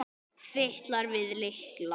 Fitlar við lykla.